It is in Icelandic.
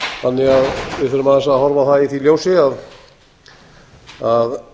þannig að við þurfum að eins að horfa á það í því ljósi að